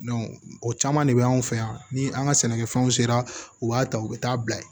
o caman de bɛ anw fɛ yan ni an ka sɛnɛkɛfɛnw sera u b'a ta u bɛ taa bila yen